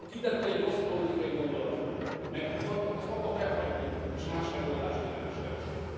Ha kiderül egy rossz politikai gondolatról, hogy megbukott, akkor azt abba kell hagyni, és más megoldást érdemes keresni.